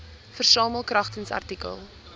versamel kragtens artikel